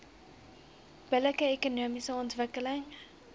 billike ekonomiese ontwikkeling